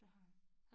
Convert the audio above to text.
Det har jeg